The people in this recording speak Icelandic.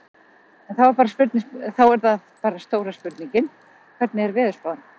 En þá er það bara stóra spurningin, hvernig er veðurspáin?